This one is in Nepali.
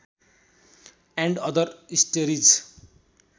and other stories